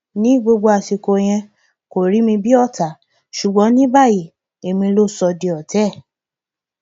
ní gbogbo àsìkò yẹn kò rí mi bíi ọtá ṣùgbọn ní báyìí èmi ló sọ di ọtá ẹ